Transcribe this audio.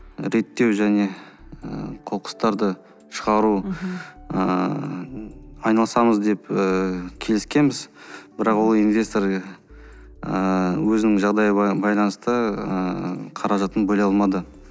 реттеу және ы қоқыстарды шығару ыыы айналысамыз деп ііі келіскенбіз бірақ ол инвестор ыыы өзінің жағдайы байланысты ы қаражатын бөле алмады